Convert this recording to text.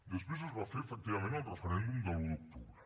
després es va fer efectivament el referèndum de l’un d’octubre